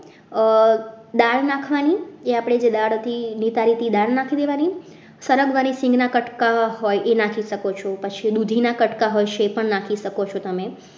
દાળ નાખવાની આપણી જે દાળ હતી નિતારેલી દાળ નાખી દેવાની સરગવાની સિંગના કટકા હોય એ નાખી શકો છો પછી દૂધીના કટકા હોય છે એ પણ નાખી શકો છો તમે